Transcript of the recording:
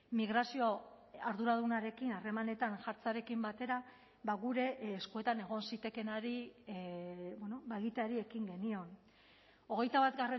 migrazio arduradunarekin harremanetan jartzearekin batera gure eskuetan egon zitekeenari egiteari ekin genion hogeita bat